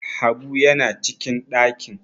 habu yana cikin dakin!